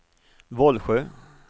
Vollsjö